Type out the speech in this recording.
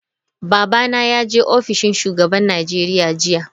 Babana ya je ofishin shugaban Najeriya jiya.